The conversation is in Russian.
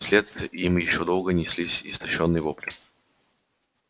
вслед им ещё долго неслись истощённые вопли